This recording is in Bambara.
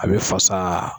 A bɛ fasa